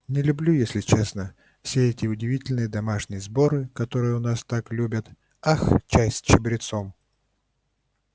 не люблю если честно все эти удивительные домашние сборы которые у нас так любят ах чай с чабрецом